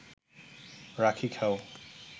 রাখি খাও